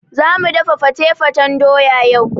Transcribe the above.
Zamu dafa fate-fatan doya yau.